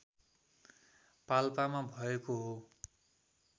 पाल्पामा भएको हो